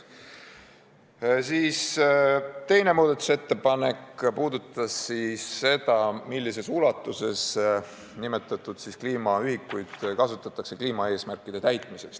Teine muudatusettepanek puudutas seda, millises ulatuses nimetatud kliimaühikuid kasutatakse kliimaeesmärkide täitmiseks.